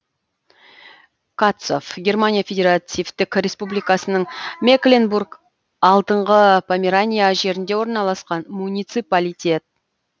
катцов германия федеративтік республикасының мекленбург алдыңғы померания жерінде орналасқан муниципалитет